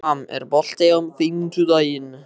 Ram, er bolti á fimmtudaginn?